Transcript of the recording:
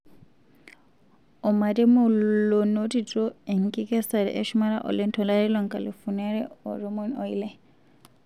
Omaremu lonotito enkikesare eshumata oleng 2016.